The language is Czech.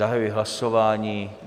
Zahajuji hlasování.